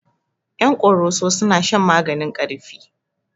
Ƴan koroso suna shan maganin ƙarfi